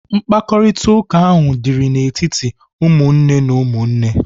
Mkparịtaụka ahụ dịrị n'etiti ụmụnne na ụmụnne.